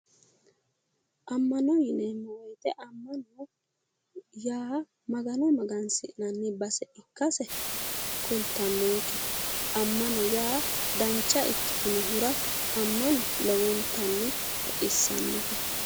Ammana yineemmo woyite ammana yaa Magano magansi'nanni base ikkase kultannonke. Ammano yaa dancha ikkitinohura ammano lowontanni baxissannote.